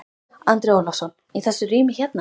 Andri Ólafsson: Í þessu rými hérna?